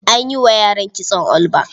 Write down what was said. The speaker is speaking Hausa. A yi wa yaran kitson all back.